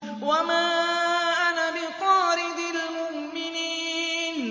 وَمَا أَنَا بِطَارِدِ الْمُؤْمِنِينَ